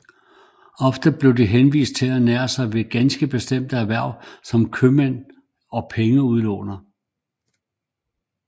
Ofte var de henvist til at ernære sig ved ganske bestemte erhverv som købmænd og pengeudlånere